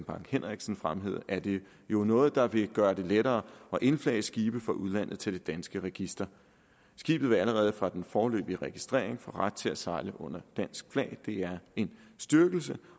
bang henriksen fremhævede er det jo noget der vil gøre det lettere at indflage skibe fra udlandet til det danske register skibet vil allerede fra den foreløbige registrering få ret til at sejle under dansk flag det er en styrkelse